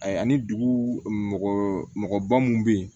Ayi ani dugu mɔgɔ mɔgɔba mun bɛ yen